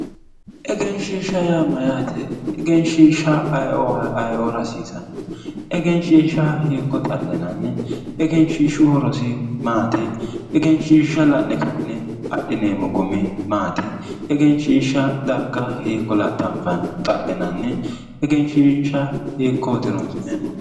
Egenshishsha yaa mayate, egenshishsha ayeeo, ayeeora hasiisano ,egenshishsha hiikko xallinanni ,egenshishshu horosi maati, egenshishsha la'ne ka'ne adhineemmo gumi maati, egenshishsha darga hiikko laxafanni, xallinanni, egenshishsha hiikkoti horonsi'neemmohu